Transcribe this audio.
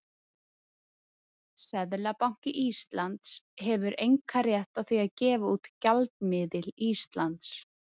Seðlabanki Íslands hefur einkarétt á því að gefa út gjaldmiðil Íslands.